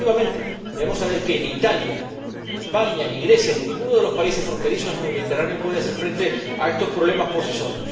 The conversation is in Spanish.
Porque, efectivamente, debemos saber que ni Italia, ni España, ni Grecia, ni ninguno de los países fronterizos en el Mediterráneo puede hacer frente a estos problemas, por sí solo.